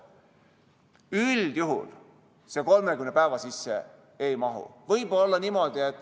Üldjuhul see 30 päeva sisse ei mahu.